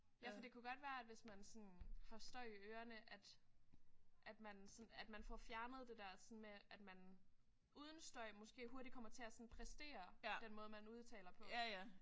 Ja for det kunne godt være at hvis man sådan har støj i ørerne at at man sådan at man får fjernet det der sådan med at man uden støj måske hurtigt kommer til at sådan præstere den måde man udtaler på